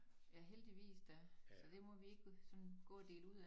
Ja heldigvis da så det må vi gå sådan gå og dele ud af